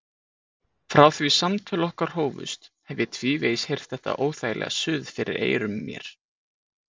Frá því samtöl okkar hófust hef ég tvívegis heyrt þetta óþægilega suð fyrir eyrum mér.